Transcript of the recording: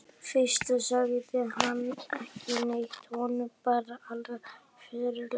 Fyrst sagði hann ekki neitt, honum brá alveg ferlega.